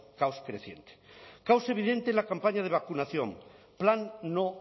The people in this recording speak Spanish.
creciente caos evidente en la campaña de vacunación plan no